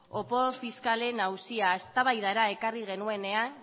opor fiskalen auzia eztabaidara ekarri genuenean